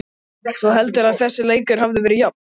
Þú heldur að þessi leikur hafi verið jafn?